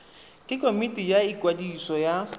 ke komiti ya ikwadiso ya